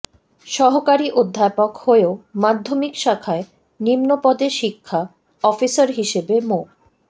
সহকারী অধ্যাপক হয়েও মাধ্যমিক শাখায় নিম্নপদে শিক্ষা অফিসার হিসেবে মো